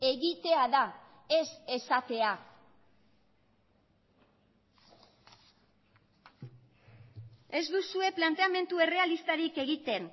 egitea da ez esatea ez duzue planteamendu errealistarik egiten